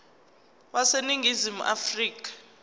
wase ningizimu afrika